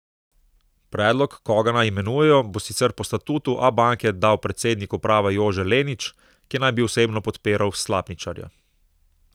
Predlog, koga naj imenujejo, bo sicer po statutu Abanke dal predsednik uprave Jože Lenič, ki naj bi osebno podpiral Slapničarja.